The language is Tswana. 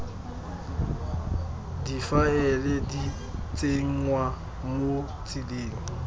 difaele di tsenngwa mo tseleng